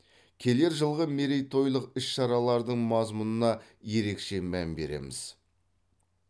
келер жылғы мерейтойлық іс шаралардың мазмұнына ерекше мән береміз